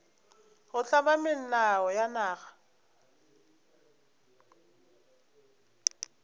go hlama melao ya naga